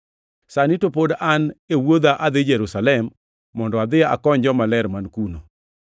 Sani to pod an e wuodha adhi Jerusalem mondo adhi akony jomaler man kuno.